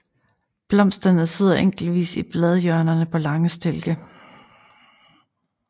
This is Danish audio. Blomsterne sidder enkeltvis i bladhjørnerne på lange stilke